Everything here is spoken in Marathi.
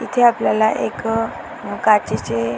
इथे आपल्याला एक अ काचेचे --